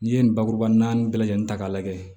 N'i ye nin bakuruba naani bɛɛ lajɛlen ta k'a lajɛ